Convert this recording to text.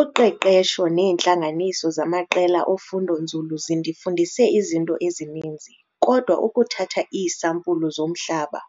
Uqeqesho neentlanganiso zamaqela ofundo-nzulu zindifundise izinto ezininzi kodwa ukuthatha iisampulu zomhlaba,